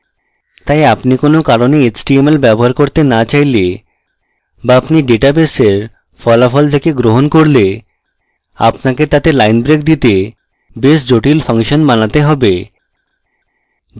তাই আপনি কোনো কারণে html ব্যবহার করতে so চাইলে so আপনি ডাটাবেসের ফলাফল থেকে গ্রহণ করলে আপনাকে তাতে line breaks দিতে base জটিল ফাংশন বানাতে have